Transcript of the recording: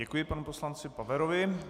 Děkuji panu poslanci Paverovi.